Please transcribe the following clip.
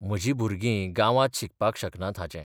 म्हर्जी भुरग गांवांत शिकपाक शकनात हाचें.